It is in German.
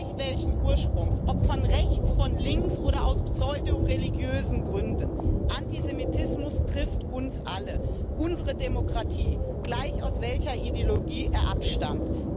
Gleich, welchen Ursprungs ob von rechts, von links oder aus pseudoreligiösen Gründen Antisemitismus trifft uns alle, unsere Demokratie, gleich, aus welcher Ideologie er abstammt.